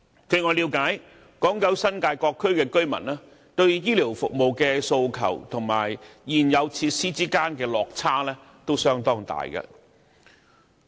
據我了解，港九新界各區居民對醫療服務的訴求與現有設施之間的落差相當大。